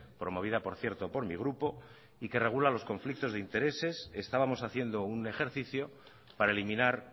promovida por cierto por mi grupo y que regula los conflictos de intereses estábamos haciendo un ejercicio para eliminar